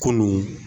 Kunun